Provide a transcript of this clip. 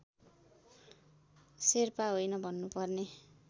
शेर्पा होइन भन्नुपर्ने